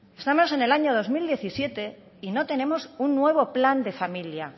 estamos en el año dos mil diecisiete y no tenemos un nuevo plan de familia